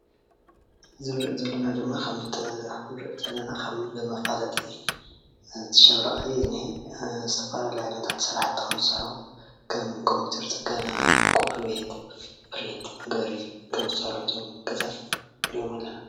እዚ እንሪኦ ዘለና ድማ ከም መፋለጢ ሻራ እዩ ዝነሄ፡፡ ዝተፈላለዩ ስራሕቲ ከምዝሰርሑ ከም ኮምፒተር ፅገና ፣ኮፒ ቤት፣ ፕሪንት መግበሪ ከም ዝሰርሑ እዮም እቶም ገዛ ንርኢ ኣለና፡፡